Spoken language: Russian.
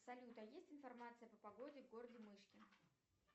салют а есть информация по погоде в городе мышкин